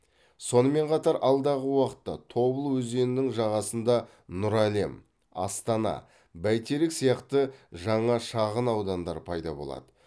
сонымен қатар алдағы уақытта тобыл өзенінің жағасында нұр әлем астана бәйтерек сияқты жаңа шағын аудандар пайда болады